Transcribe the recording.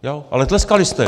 Ale tleskali jste.